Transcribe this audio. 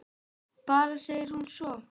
Bara segir hún svo.